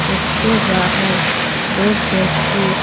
इसके बाहर दो व्यक्ति--